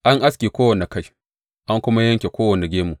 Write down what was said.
An aske kowane kai an kuma yanke kowane gemu.